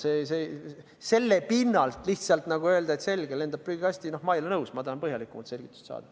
Selle pinnalt lihtsalt nagu öelda, et selge, lendab prügikasti – no ma ei ole nõus, ma tahan põhjalikumat selgitust saada.